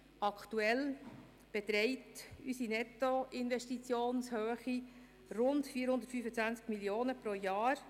Aktuell beträgt die Nettoinvestitionshöhe rund 425 Mio. Franken pro Jahr.